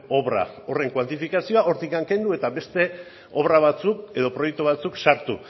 obra horren kuantifikazioa hortik kendu eta beste obra batzuk edo proiektu batzuk sartu